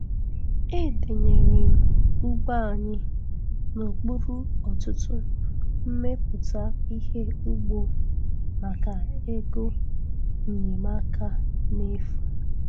Edenyere m ugbo anyi n' okpuru ọtụtụ mmmeputa ihe ugbo maka ego nnyeamaka n' efu.